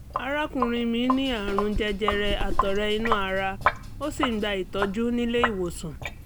arákùnrin mi ní àrùn jẹjẹrẹ àtọ̀rẹ́ inú ara ó sì ń gba ìtọ́jú nílé ìwòsàn